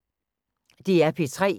DR P3